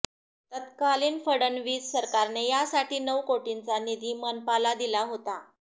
तत्कालीन फडणवीस सरकारने यासाठी नऊ कोटींचा निधी मनपाला दिला होता